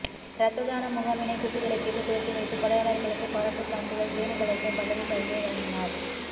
ரத்ததான முகாமினை குத்து விளக்கேற்றி துவக்கி வைத்து கொடையாளர்களுக்கு பாராட்டுச் சான்றிதழ் தேனி கலெக்டர் பல்லவி பல்தேவ் வழங்கினார்